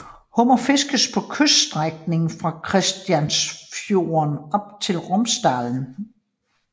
Hummer fiskes på kyststrækningen fra Kristianiafjorden op til Romsdalen